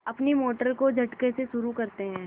अपनी मोटर को झटके से शुरू करते हैं